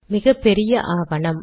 மிகப்பெரிய ஆவணம்